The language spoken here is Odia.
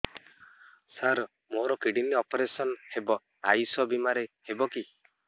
ସାର ମୋର କିଡ଼ନୀ ଅପେରସନ ହେବ ଆୟୁଷ ବିମାରେ ହେବ କି